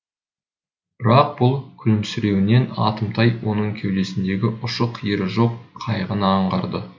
бірақ бұл күлімсіреуінен атымтай оның кеудесіндегі ұшы қиыры жоқ қайғыны аңғарды